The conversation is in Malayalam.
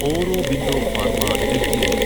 Aurobindo pharma LTD